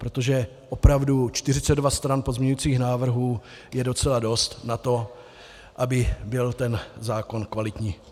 Protože opravdu 42 stran pozměňovacích návrhů je docela dost na to, aby byl ten zákon kvalitní.